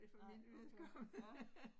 Nej, okay, nåh